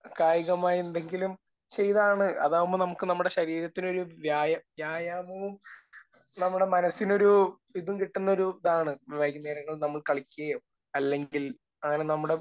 കായികമായി എന്തെങ്കിലും ചെയ്താണ്...അതാവുമ്പോൾ നമുക്ക് നമ്മുടെ ശരീരത്തിനൊരു വ്യായാമവും നമ്മുടെ മനസ്സിനൊരു ഇതും കിട്ടുന്നൊരു ഇതാണ് വൈകുന്നേരങ്ങളിൽ നമ്മൾ കളിക്കുകയോ അല്ലെങ്കിൽ അങ്ങനെ നമ്മുടെ